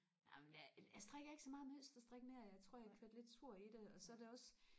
amen det jeg strikker ikke så meget mønsterstrik mere jeg tror jeg er kørt lidt surt i det og så er det også